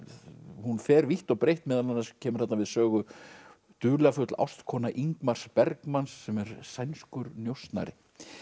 hún fer vítt og breitt meðal annars kemur þarna við sögu dularfull ástkona Bergmans sem er sænskur njósnari